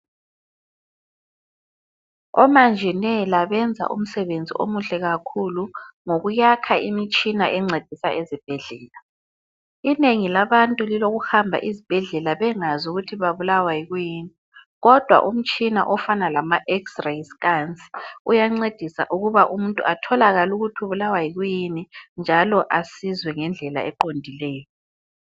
Omanjinela benza umsebenzi omuhle kakhulu ngokuyakha imitshina encedisa ezibhedlela, inengi labantu liloku hamba ezibhedlela bengazi ukuthi babulawa yikuyini kodwa umtshina ofana lama Xray scan uyancedisa ukuba umuntu atholakale ukuthi ubulawa yikuyini njalo asizwe ngendlela eqondileyo.